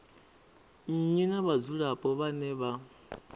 nnyi na vhadzulapo vhane vha